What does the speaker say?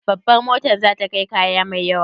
Babar motar za ta kai kaya mai yawa?